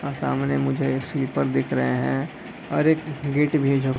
और सामने मुझे एक स्वीपर दिख रहे है और एक गेट भी जो --